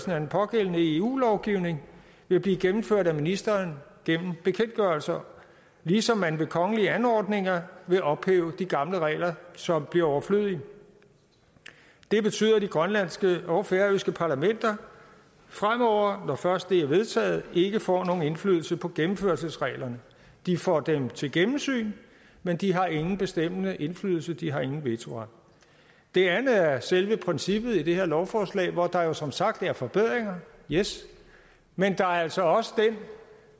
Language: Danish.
at den pågældende eu lovgivning vil blive gennemført af ministeren gennem bekendtgørelser ligesom man ved kongelige anordninger vil ophæve de gamle regler som bliver overflødige det betyder at det grønlandske og det færøske parlament fremover når først det er vedtaget ikke får nogen indflydelse på gennemførelsesreglerne de får dem til gennemsyn men de har ingen bestemmende indflydelse de har ingen vetoret det andet er selve princippet i de her lovforslag hvor der jo som sagt er forbedringer yes men der er altså også den